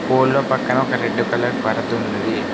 కోడ్ల పక్కన ఒక రెడ్ కలర్ పరద ఉన్నది.